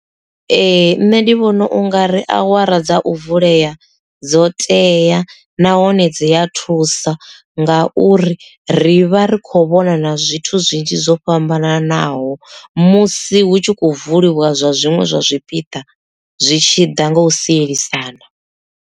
Ee nṋe ndi vhona unga ri awara dza u vulea dzo tea nahone dzi a thusa nga uri ri vha ri kho vhona na zwithu zwinzhi zwo fhambananaho musi hu tshi kho vuliwa zwa zwiṅwe zwa zwipiḓa zwi tshi ḓa nga u sielisana.